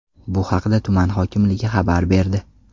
Bu haqda tuman hokimligi xabar berdi .